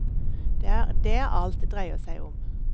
Det er det alt dreier seg om.